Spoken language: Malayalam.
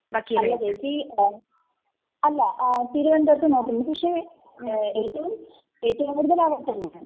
അല്ല ചേച്ചി..അല്ല..തിരുവനന്തപുരത്തും നോക്കുന്നുണ്ട്, പക്ഷേ ഏറ്റവും കൂടുതൽ അവിടെത്തന്നെയാണ്.